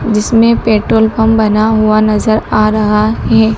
जिसमें petrol pump बना हुआ नजर आ रहा है।